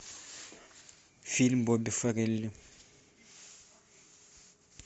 фильм бобби фаррелли